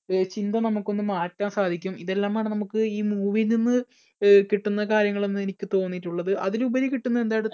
ചിന്ത നമുക്കൊന്ന് മാറ്റാൻ സാധിക്കും ഇതെല്ലാം ആണ് നമുക്ക് ഈ movie യിൽ നിന്ന് കിട്ടുന്ന കാര്യങ്ങളെന്നു എനിക്ക് തോന്നിയിട്ടുള്ളത്. അതിലുപരി കിട്ടുന്നതെ